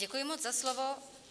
Děkuji moc za slovo.